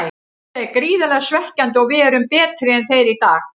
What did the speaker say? Þetta er gríðarlega svekkjandi og við erum betri en þeir í dag.